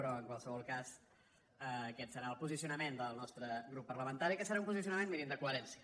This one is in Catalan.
però en qualsevol cas aquest serà el posicionament del nostre grup parlamentari que serà un posicionament mirin de coherència